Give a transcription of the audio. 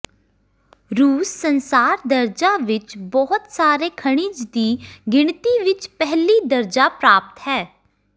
ਰੂਸ ਸੰਸਾਰ ਦਰਜਾ ਵਿੱਚ ਬਹੁਤ ਸਾਰੇ ਖਣਿਜ ਦੀ ਗਿਣਤੀ ਵਿੱਚ ਪਹਿਲੀ ਦਰਜਾ ਪ੍ਰਾਪਤ ਹੈ